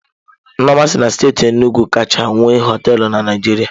Nneoma si na steeti Enugwu kacha nwee hoteelu na Naịjirịa.